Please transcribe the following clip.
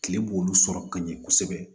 Kile b'olu sɔrɔ ka ɲɛ kosɛbɛ